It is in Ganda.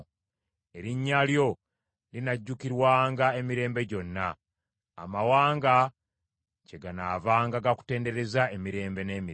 Erinnya lyo linajjukirwanga emirembe gyonna. Amawanga kyeganaavanga gakutendereza emirembe n’emirembe.